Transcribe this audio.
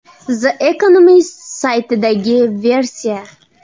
The Economist saytidagi versiya.